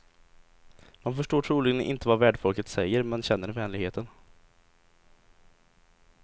Man förstår troligen inte vad värdfolket säger men känner vänligheten.